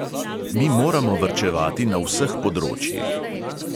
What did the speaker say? Mi moramo varčevati na vseh področjih.